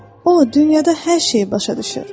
o, dünyada hər şeyi başa düşür.